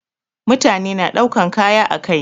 Mutane na daukan kaya ã kai.